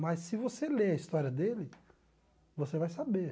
Mas se você ler a história dele, você vai saber.